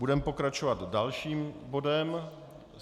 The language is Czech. Budeme pokračovat dalším bodem.